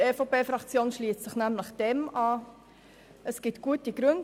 Die EVP-Fraktion schliesst sich diesem nämlich an, und dafür gibt es gute Gründe.